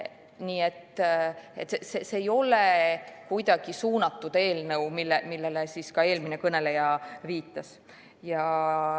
Nii et see ei ole kuidagi suunatud eelnõu, nagu eelmine kõneleja viitas.